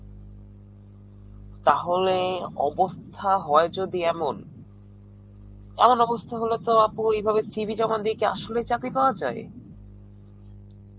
তাহলে, অবস্থা হয় যদি এমন...এমন অনস্থা হলে তো আপু এইভাবে CV জমা দিয়ে কি আসলে চাকরি পাওয়া যায়?